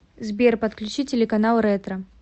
сбер подключи телеканал ретро